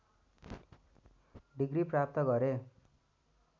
degree प्राप्त गरे